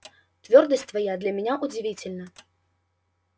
твёрдость твоя для меня удивительна